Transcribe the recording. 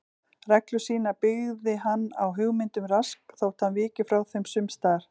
Reglur sínar byggði hann á hugmyndum Rasks þótt hann viki frá þeim sums staðar.